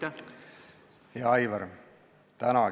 Hea Aivar!